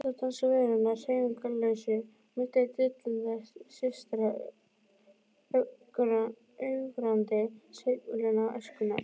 Ennþá dansa verurnar hreyfingarlausu milli dillandi systra, ögrandi sveiflna æskunnar.